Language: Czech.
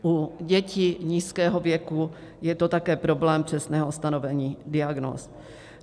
U dětí nízkého věku je to také problém přesného stanovení diagnóz.